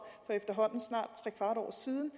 for snart trekvart år siden